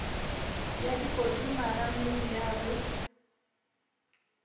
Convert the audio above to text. ya dikoti marameng ya be